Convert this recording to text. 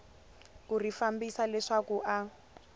ku ri fambisa leswaku a